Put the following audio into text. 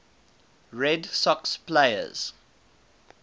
red sox players